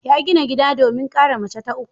Ya gina gida domin kara mace ta uku.